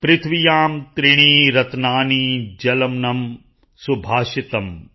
ਪ੍ਰਿਥਵਿਯਾਂ ਤ੍ਰੀਣਿ ਰਤਨਾਨਿ ਜਲਮੱਨੰ ਸੁਭਾਸ਼ਿਤਮ